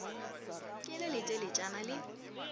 ke le le teletšana le